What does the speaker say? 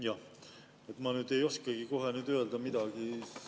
Jah, ma ei oskagi nüüd kohe midagi öelda.